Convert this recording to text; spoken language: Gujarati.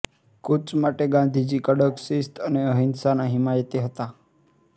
કૂચ માટે ગાંધીજી કડક શિસ્ત અને અહિંસાના હિમાયતી હતા